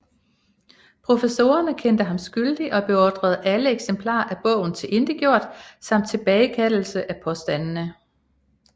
Professorerne kendte ham skyldig og beordrede alle eksemplarer af bogen tilintetgjort samt tilbagekaldelse af påstandene